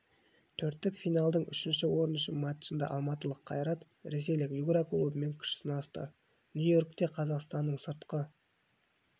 төрттік финалдың үшінші орын үшін матчында алматылық қайрат ресейлік югра клубымен күш сынасты нью-йоркте қазақстанның сыртқы